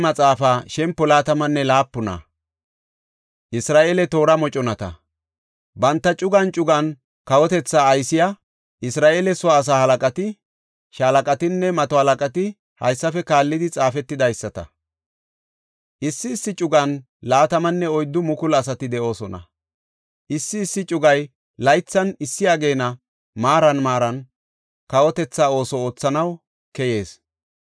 Banta cugan cugan kawotethaa aysiya Isra7eele soo asaa halaqati, shaalaqatinne mato halaqati haysafe kaallidi xaafetidaysata. Issi issi cugan 24,000 asati de7oosona. Issi issi cugay laythan issi ageena maaran maaran kawotetha ooso oothanaw keyees.